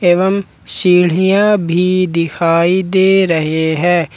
एवं सीढ़ियां भी दिखाई दे रहे हैं।